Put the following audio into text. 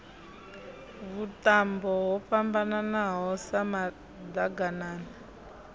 vhuṱambo ho fhambananaho sa maḓaganana